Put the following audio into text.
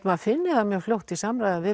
maður finni það fljótt í samræðum við